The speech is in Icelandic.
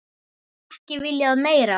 Ekki viljað meira.